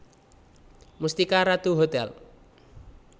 Mustika Ratu Hotel